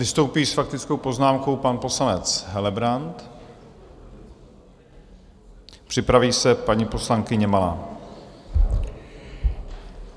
Vystoupí s faktickou poznámkou pan poslanec Helebrant, připraví se paní poslankyně Malá.